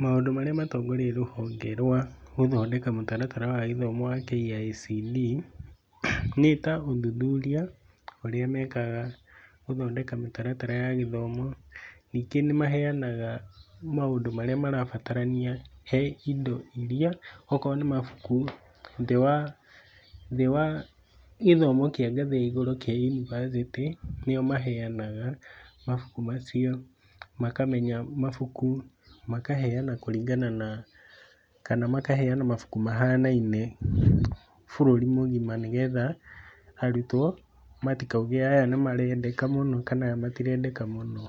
Maũndũ marĩa matongoretie rũhonge rwa gũthondeka mũtaratara wa gĩthomo KICD, nĩta ũthuthuria ũrĩa mekaga gũthondeka mĩtaratara ya gĩthomo. Ningĩ nĩ maheanaga maũndũ marĩa marabatarania he indo iria, okorwo nĩmabuku thĩ wa thĩ wa gĩthomo kĩa ngathĩ ya igũrũ kĩa yunivathĩtĩ nĩo maheanaga mabuku macio makamenya mabuku, makaheana kũringana na kana makaheana mabuku mahanaine bũrũri mũgima nĩgetha arutwo matikauge atĩ aya nĩmarendeka mũno kana aya matirendeka mũno.